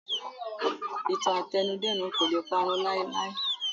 Ìtàn àtẹnudẹ́nu kò lè parun láéláé